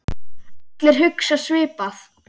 Allir hugsa svipað.